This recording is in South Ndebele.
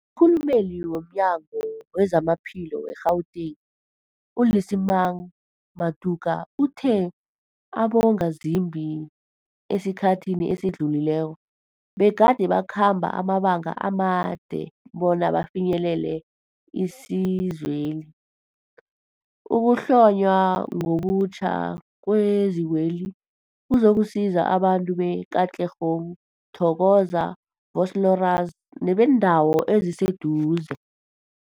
Umkhulumeli womNyango weZamaphilo we-Gauteng, u-Lesemang Matuka uthe abongazimbi esikhathini esidlulileko begade bakhamba amabanga amade bona bafinyelele isizweli. Ukuhlonywa ngobutjha kwezikweli kuzokusiza abantu be-Katlehong, Thokoza, Vosloorus nebeendawo eziseduze.